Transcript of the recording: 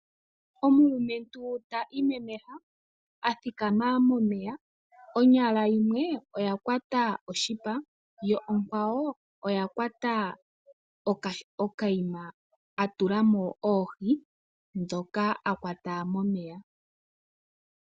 Omulumentu ta imemeha, a thikama momeya , onyala yimwe oya kwata oshipa yo okwawo oya kwata okaima, a tula mo oohi dhoka a kwata momeya.